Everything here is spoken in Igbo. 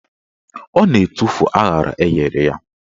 Ọ na-etufu aṅara enyere ya.